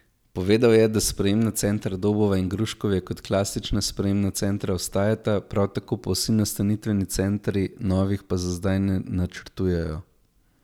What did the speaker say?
Povedal je, da sprejemna centra Dobova in Gruškovje kot klasična sprejemna centra ostajata, prav tako vsi nastanitveni centri, novih pa za zdaj ne načrtujejo.